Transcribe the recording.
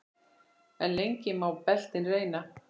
En lengi má beltin reyna.